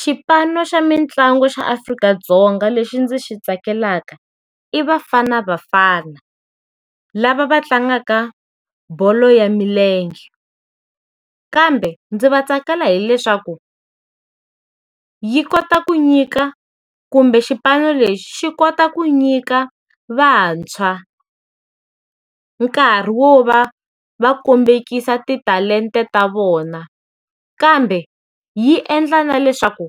Xipano xa mitlangu xa Afrika-Dzonga lexi ndzi xi tsakelaka i Bafana Bafana, lava va tlangaka bolo ya milenge. Kambe ndzi va tsakela hileswaku, yi kota ku nyika kumbe xipano lexi xi kota ku nyika vantshwa nkarhi wo va va kombekisa ti talenta ta vona, kambe yi endla na leswaku